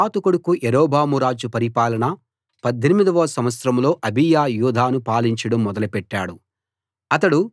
నెబాతు కొడుకు యరొబాము రాజు పరిపాలన 18 వ సంవత్సరంలో అబీయా యూదాను పాలించడం మొదలెట్టాడు